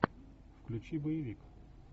включи боевик